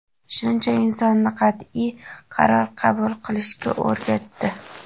Shuncha insonni qatʼiy qaror qabul qilishga o‘rgatdi.